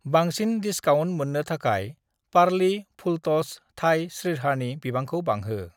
बांसिन डिसकाउन्ट मोन्नो थाखाय पारलि फुलट'स थाइ स्रिरचहानि बिबांखौ बांहो।